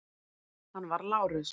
Hann var Lárus